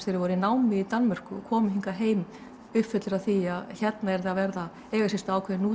þeir voru í námi í Danmörku og komu hingað heim uppfullir af því að hérna yrði að eiga sér stað ákveðin